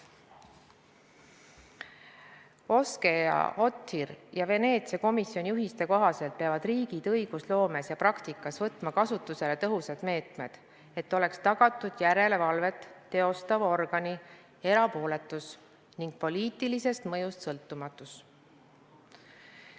OSCE/ODHIR-i ja Veneetsia komisjoni juhiste kohaselt peavad riigid õigusloomes ja praktikas võtma kasutusele tõhusad meetmed, et oleks tagatud järelevalvet teostava organi erapooletus ning poliitilisest mõjust sõltumatus.